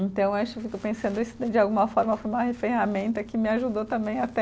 Então acho que eu fico pensando isso de alguma forma foi uma ferramenta que me ajudou também até